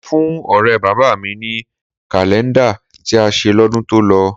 Mo fún ọ̀rẹ́ bàbá mi ní kàlẹ́ńdà tí a ṣe lọ́dún tó lọ